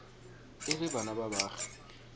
e le bana ba baagi